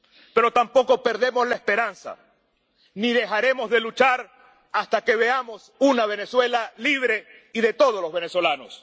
Pero tampoco perdemos la esperanza ni dejaremos de luchar hasta que veamos una Venezuela libre y de todos los venezolanos.